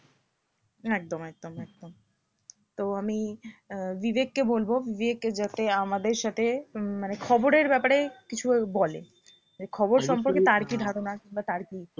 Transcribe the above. একদম একদম একদম তো আমি আহ বিবেককে বলবো যে একটু যাতে আমাদের সাথে উম মানে খবরের ব্যাপারে কিছু বলে যে খবর সম্পর্কে তার কি ধারণা বা তার কি